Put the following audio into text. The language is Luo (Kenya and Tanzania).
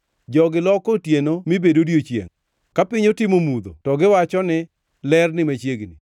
Jogi loko otieno mi bed odiechiengʼ; ka piny otimo mudho to giwacho ni, ‘Ler ni machiegni.’